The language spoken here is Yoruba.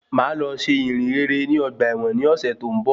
Mo máa lọ ṣe ìyìnrere ní ọgbà ẹ̀wọ̀n ní ọ̀sẹ̀ tó ń bọ̀.